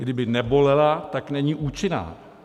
Kdyby nebolela, tak není účinná.